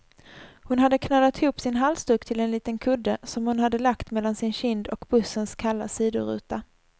Hon hade knölat ihop sin halsduk till en liten kudde, som hon hade lagt mellan sin kind och bussens kalla sidoruta.